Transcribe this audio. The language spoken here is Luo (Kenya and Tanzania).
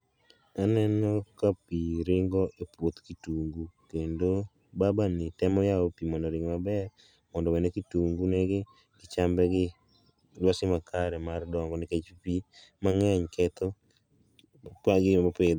Aneno ka pii ringo e puoth kitungu kendo babani temo yao pii mondo oring maber mondo owene kitungu negi, chambegi lwasi makare mar dongo nikech pii mang'eny ketho gigo mopidh